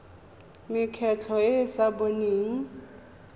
mekgatlho e e sa boneng